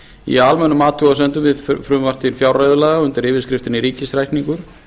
í almennum athugasemdum við frumvarp til fjárreiðulaga undir yfirskriftinni ríkisreikningur